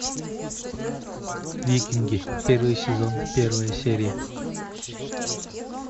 викинги первый сезон первая серия